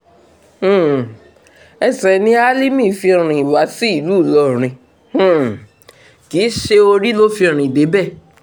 um ẹsẹ̀ ni álímì fi rìn wá sí ìlú ìlọrin um kì í ṣe orí ló fi rìn débẹ̀